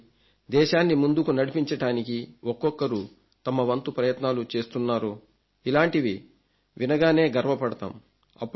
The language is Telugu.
చూడండి దేశాన్ని ముందుకు నడిపించడానికి ఒక్కొక్కరూ తమ వంతు ప్రయత్నాలు చేస్తున్నారో ఇలాంటివి వినగానే గర్వపడతాం